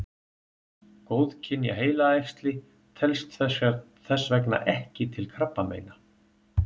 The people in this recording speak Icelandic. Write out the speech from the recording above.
Góðkynja heilaæxli telst þess vegna ekki til krabbameina.